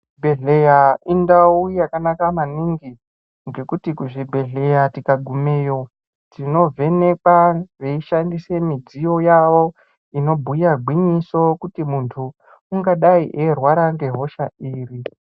Zvibhedhleya indau yakanaka maningi, ngekuti kuzvibhedhleya tikagumeyo tinovhenekwa veishandise midziyo yawo, inobhuya gwinyiso kuti munthu, ungadai eirwara ngehosha iri.